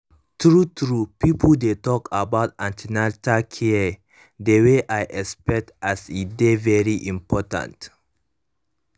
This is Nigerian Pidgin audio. true true pipo no dey talk about an ten atal care the way i expect as e dey very important